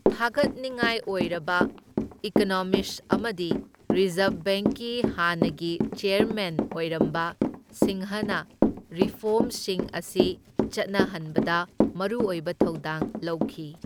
ꯊꯥꯒꯠꯅꯤꯡꯉꯥꯏ ꯑꯣꯏꯔꯕ ꯏꯀꯣꯅꯣꯃꯤꯁꯠ ꯑꯃꯗꯤ ꯔꯤꯖꯔꯕ ꯕꯦꯡꯛꯀꯤ ꯍꯥꯟꯅꯒꯤ ꯆꯦꯔꯃꯦꯟ ꯑꯣꯏꯔꯝꯕ ꯁꯤꯡꯍꯅ ꯔꯤꯐꯣꯔꯃꯁꯤꯡ ꯑꯁꯤ ꯆꯠꯅꯍꯟꯕꯗ ꯃꯔꯨ ꯑꯣꯏꯕ ꯊꯧꯗꯥꯡ ꯂꯧꯈꯤ꯫